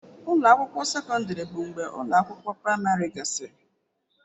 Ụlọ akwụkwọ sekọndrị bụ mgbe ụlọ akwụkwọ praịmarị gasịrị.